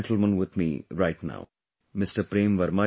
I have one such gentleman with me right now Mr